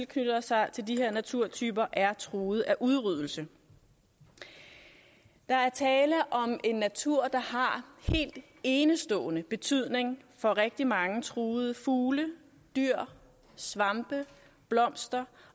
knytter sig til de her naturtyper er truet af udryddelse der er tale om en natur der har helt enestående betydning for rigtig mange truede fugle dyr svampe blomster